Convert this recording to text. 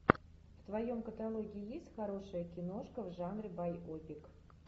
в твоем каталоге есть хорошая киношка в жанре байопик